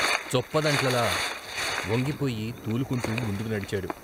చొప్పదంట్లలా వంగిపోయి తూలుకుంటూ ముందుకు నడిచాడు.